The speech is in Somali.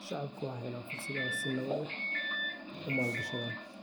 Shacabku waxay helaan fursad ay si nabad ah u maalgashadaan.